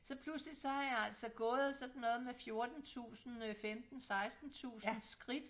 Så pludselig så er jeg altså gået sådan noget med 14 tusinde øh 15 16 tusinde skridt